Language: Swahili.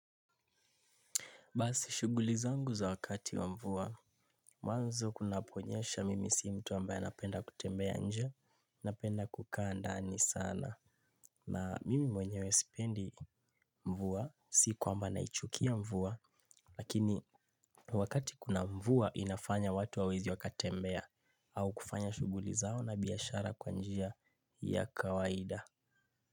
Basi shughuli zangu za wakati wa mvua mwanzo kunaponyesha mimi si mtu ambaye anapenda kutembea inje napenda kukaa ndani sana. Na mimi mwenyewe sipendi mvua si kwamba naichukia mvua. Lakini wakati kuna mvua inafanya watu hawawezi wakatembea au kufanya shughuli zao na biashara kwa njia ya kawaida.